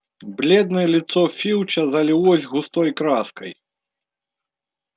бледное лицо филча залилось густой краской